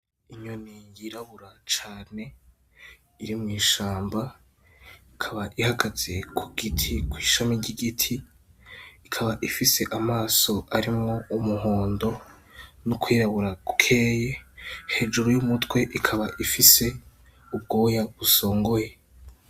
Inyoni yirabura cane iri mw'ishamba, ikaba ihagaze kw'ishami ry'igiti, ikaba ifise amaso arimwo umuhondo n'ukwirabura gukeyi, hejuru y'umutwe ikaba ifise ubwoya busongoye.